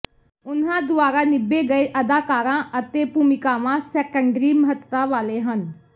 ਉਨ੍ਹਾਂ ਦੁਆਰਾ ਨਿਭੇ ਗਏ ਅਦਾਕਾਰਾਂ ਅਤੇ ਭੂਮਿਕਾਵਾਂ ਸੈਕੰਡਰੀ ਮਹੱਤਤਾ ਵਾਲੇ ਹਨ